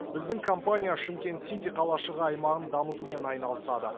біздің компания шымкент сити қалашығы аймағын дамытумен айналысады